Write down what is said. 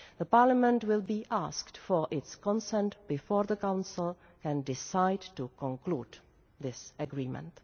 Parliament will be asked for its consent before the Council can decide to conclude this agreement.